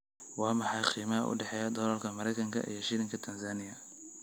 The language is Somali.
Waa maxay qiimaha u dhexeeya dollarka Maraykanka iyo shilinka Tansaaniya?